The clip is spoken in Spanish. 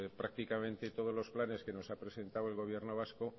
pues prácticamente todos los planes que nos ha presentado el gobierno vasco